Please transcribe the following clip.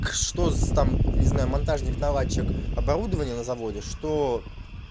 что с там не знаю монтажник наладчик оборудования на заводе что